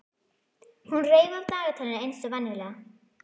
Hún reif af dagatalinu eins og venjulega.